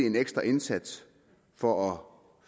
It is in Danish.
en ekstra indsats for